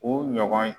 U ɲɔgɔn